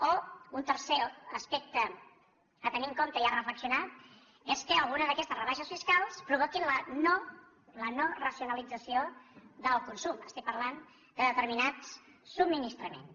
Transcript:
o un tercer aspecte a tenir en compte i a reflexionar hi és que alguna d’aquestes rebaixes fiscals provoquin la no racionalització del consum estic parlant de determinats subministraments